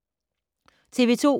TV 2